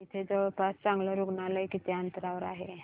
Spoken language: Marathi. इथे जवळपास चांगलं रुग्णालय किती अंतरावर आहे